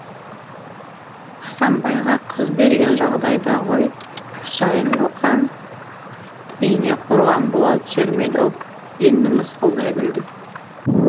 асамбайға қыз берген жағдайда ғой құсайын боқаң үйіне қорған бола түсер ме еді ау енді мысқылдай күлді